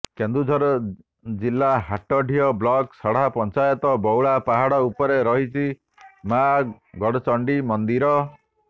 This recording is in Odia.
କେନ୍ଦୁଝର ଜିଲ୍ଲା ହାଟଡିହି ବ୍ଲକ ସଢା ପଞ୍ଚାୟତ ବଉଳା ପାହାଡ଼ ଉପରେ ରହିଛି ମାଆ ଗଡଚଣ୍ଡି ମନ୍ଦିର